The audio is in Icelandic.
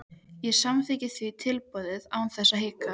Ég samþykkti því tilboðið án þess að hika.